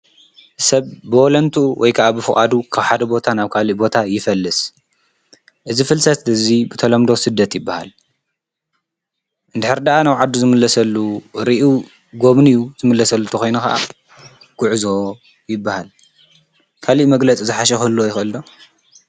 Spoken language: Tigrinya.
ሰብ ብወለንቱ ወይ ከዓ ብፍዓዱ ኽብሓደ ቦታ ናብ ካል ቦታ ይፈልስ እዝ ፍልሰት እዙይ ብተሎምዶ ስደት ይበሃል እንድኅሪ ደኣ ናው ዓዱ ዝምለሰሉ ርዩ ጎምን ዩ ዝምለሰሉ ተኾይኑ ኸዓ ጕዕዞ ይበሃል ካልእ መግለጽ ዝሓሸፈሉ ኣይፈልሎ